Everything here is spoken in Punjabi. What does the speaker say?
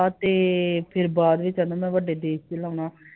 ਲਾਵਾ ਤੇ ਫਿਰ ਬਾਅਦ ਚ ਇਹਨਾਂ ਦਾ ਵੱਡੇ ਦੇਸ ਚ ਲਾਉਣਾ